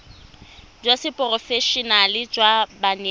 jwa seporofe enale jwa banetshi